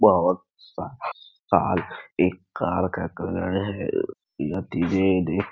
बहुत सारा कार एक कार का कलर है --